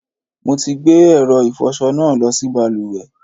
Mo ti gbé ẹ̀rọ ìfọṣọ náà lọ sí balùwẹ̀.